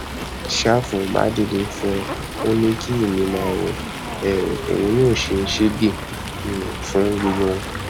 ṣàfù bá dìde fùú ò ní kí èmi máa wò ó um òun yóò ṣe sẹẹgẹ um fún gbogbo wọn